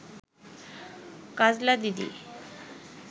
কাজলা দিদি